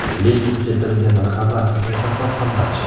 Lekin keltirilgan raqamlar haqiqatan ham dahshat.